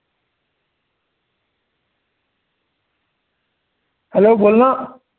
Hello बोलना